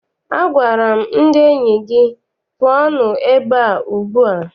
Agwara m ndị enyi gị, pụọnụ ebea ugbu a!